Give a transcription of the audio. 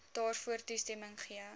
daarvoor toestemming gegee